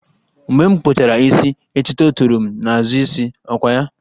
Mgbe m kpụchara isi, etuto toro m n'azụ isi, ọ kwa ya?